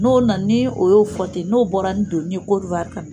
N'o nana ni o y'o fɔ ten n'o bɔra ni doni Côte d'Ivoire ka na